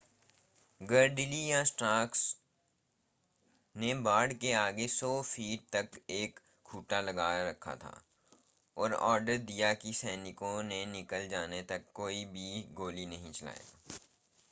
Gridley या Stark ने बाड़ के आगे 100 फ़ीट 30 मीटर तक एक खूंटा लगा रखा था और ऑर्डर दिया था कि सैनिकों के निकल जाने तक कोई भी गोली नहीं चलाएगा